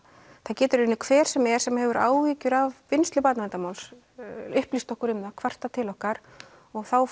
það getur í raun hver sem er sem hefur áhyggjur af vinnslu barnaverndarmáls upplýst okkur um það kvartað til okkar og þá